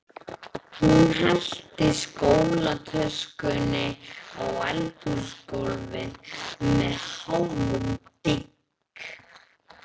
Hún skellti skólatöskunni á eldhúsgólfið með háum dynk.